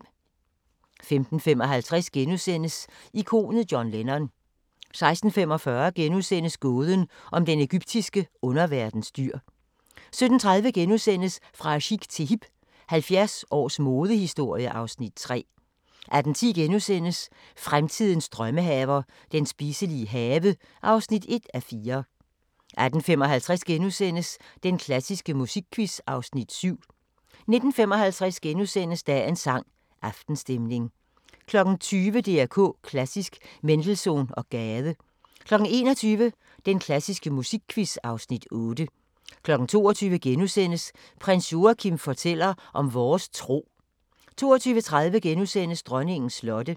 15:55: Ikonet John Lennon * 16:45: Gåden om den egyptiske underverdens dyr * 17:30: Fra chic til hip – 70 års modehistorie (Afs. 3)* 18:10: Fremtidens drømmehaver – den spiselige have (1:4)* 18:55: Den klassiske musikquiz (Afs. 7)* 19:55: Dagens sang: Aftenstemning * 20:00: DR K Klassisk: Mendelssohn og Gade 21:00: Den klassiske musikquiz (Afs. 8) 22:00: Prins Joachim fortæller om vores tro * 22:30: Dronningens slotte (Afs. 1)*